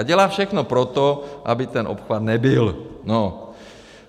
A dělá všechno pro to, aby ten obchvat nebyl.